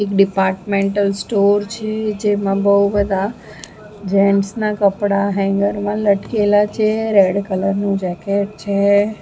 એક departmental store છે જેમાં બઉ બધા જેન્ટસ ના કપડા હેંગર માં લટકેલા છે રેડ કલર નું જેકેટ છે.